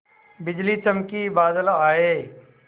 बिजली चमकी बादल आए